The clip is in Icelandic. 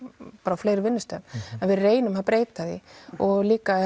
á fleiri vinnustöðum en við reynum að breyta því og líka